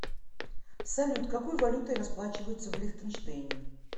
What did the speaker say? салют какой валютой расплачиваются в лихтенштейне